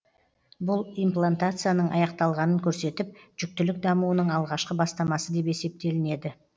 бұл имплантацияның аяқталғанын көрсетіп жүктілік дамуының алғашқы бастамасы деп есептелінеді